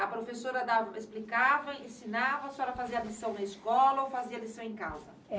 A professora dava explicava, ensinava, a senhora fazia lição na escola ou fazia lição em casa?